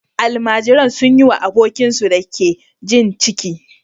Almajiran sun yi wa abokinsu da ke jin ciki